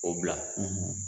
O bila